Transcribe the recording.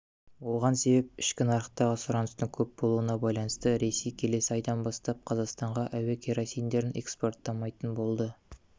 оған себеп ішкі нарықтағы сұраныстың көп болуына байланысты ресей келесі айдан бастап қазақстанға әуекеросиндерін экспорттамайтын болды